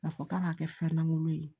K'a fɔ k'a b'a kɛ fɛn langolo ye